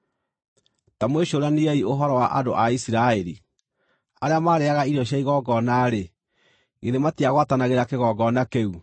Ta mwĩcũraniei ũhoro wa andũ a Isiraeli: Arĩa marĩĩaga irio cia igongona-rĩ, githĩ matigwatanagĩra kĩgongona kĩu?